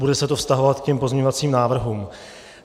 Bude se to vztahovat k těm pozměňovacím návrhům.